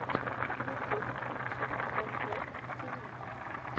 ютюб включи баркрофт ти ви